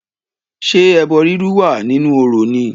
Ṣé ẹbọ rírú wà nínú orò ni?